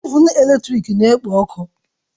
Ovụn eletrik na-ekpo ọkụ